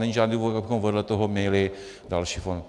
Není žádný důvod, abychom vedle toho měli další fond.